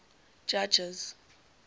judges